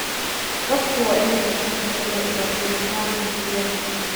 Dadku waa in ay bartaan sida loo ilaaliyo tamarta guryaha.